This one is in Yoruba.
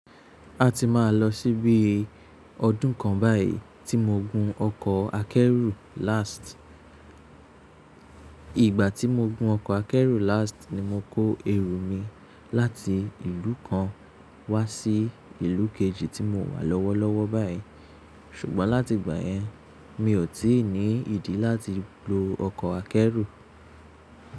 A ti máa lọ síbí ọdún kan báyìí tí mo gun ọkọ̀ akẹ́rù last. Ìgbà tí mo gun ọkọ̀ akẹ́rù last ni mo kó ẹrù mi láti ìlú kan wá sí ìlú kejì tí mo wà lọ́wọ́lọ́wọ́ báyìí. Ṣùgbọ́n láti ìgbà yẹn, mi ò tí ì ní ìdí láti lo ọkọ̀ akẹ́rù.